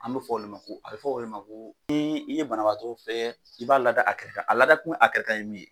An be fɔ olu a bɛ fɔ olu ko h i ye banabaatɔ fɛ i b'a lada a kɛrɛ a lada tun a kɛrɛ kan ye min ye